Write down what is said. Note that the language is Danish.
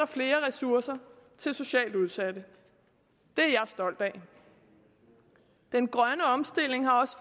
flere ressourcer til socialt udsatte det er jeg stolt af den grønne omstilling har også